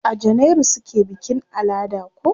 A janairu suke bikin alada ko?